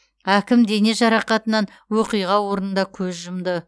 әкім дене жарақатынан оқиға орнында көз жұмды